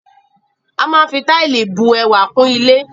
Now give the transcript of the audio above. A máa fi Táìlì bu ẹwà kún ilé